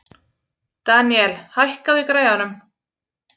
Daniel, hækkaðu í græjunum.